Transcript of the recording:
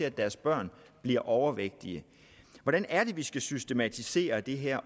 at deres børn bliver overvægtige hvordan er det at vi skal systematisere det her